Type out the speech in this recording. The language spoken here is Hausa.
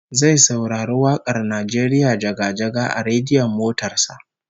Zai saurari wak'ar "Najeriya jaga-jaga" a rediyon motar sa